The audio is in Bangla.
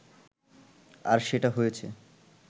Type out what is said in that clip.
আর সেটা হয়েছে